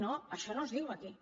no això no es diu aquí